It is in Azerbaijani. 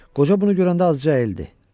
Qoca bunu görəndə azca əyildi.